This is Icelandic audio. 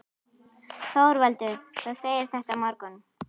ÞORVALDUR: Þú segir þetta á morgun?